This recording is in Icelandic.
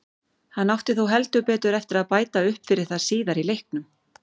Hann átti þó heldur betur eftir að bæta upp fyrir það síðar í leiknum.